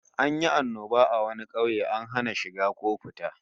An yi annoba a wani kauye, an hana shiga ko fita